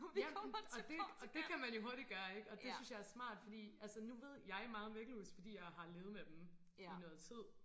Ja og det og det kan man jo hurtigt gøre ikke og det synes jeg er smart fordi altså nu ved jeg meget om væggelus fordi jeg har levet med dem i noget tid